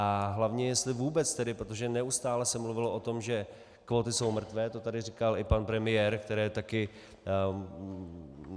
A hlavně jestli vůbec tedy, protože neustále se mluvilo o tom, že kvóty jsou mrtvé, to tady říkal i pan premiér, který taky...